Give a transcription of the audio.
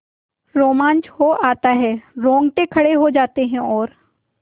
रोमांच हो आता है रोंगटे खड़े हो जाते हैं और